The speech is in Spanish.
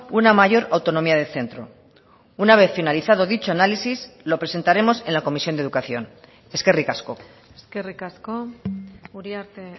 una mayor autonomía de centro una vez finalizado dicho análisis lo presentaremos en la comisión de educación eskerrik asko eskerrik asko uriarte